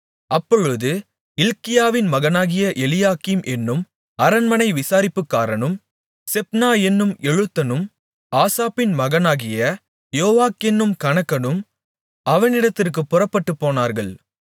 அப்பொழுது இல்க்கியாவின் மகனாகிய எலியாக்கீம் என்னும் அரண்மனை விசாரிப்புக்காரனும் செப்னா என்னும் எழுத்தனும் ஆசாப்பின் மகனாகிய யோவாக் என்னும் கணக்கனும் அவனிடத்திற்குப் புறப்பட்டுப்போனார்கள்